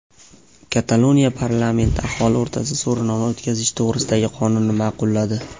Kataloniya parlamenti aholi o‘rtasida so‘rovnoma o‘tkazish to‘g‘risidagi qonunni ma’qulladi.